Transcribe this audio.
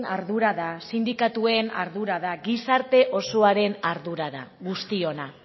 ardura da sindikatuen ardura da gizarte osoaren ardura da guztiona